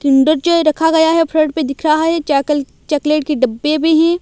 Kinder Joy रखा गया है फ्रंट पे दिख रहा है। चाकल चॉकलेट के डब्बे भी है।